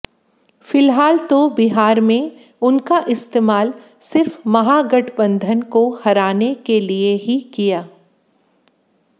फिलहाल तो बिहार में उनका इस्तेमाल सिर्फ महागठबंधन को हराने के लिए ही किया